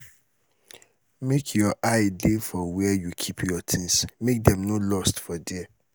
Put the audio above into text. make your eye dey for where you keep your things make dem no lost for there